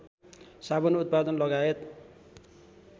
साबुन उत्पादन लगायत